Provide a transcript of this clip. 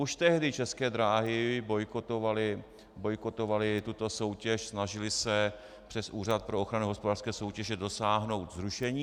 Už tehdy České dráhy bojkotovaly tuto soutěž, snažily se přes Úřad pro ochranu hospodářské soutěže dosáhnout zrušení.